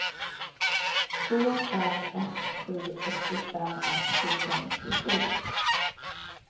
två fem ett sju åttiofem etthundranittiosju